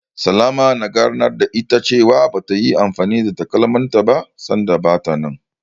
Salama na ganar da ita cewa bata yi anfani da takalmanta ba, sanda bata nan.